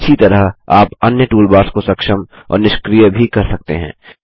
इसी तरह आप अन्य टूलबार्स को सक्षम और निष्क्रिय भी कर सकते हैं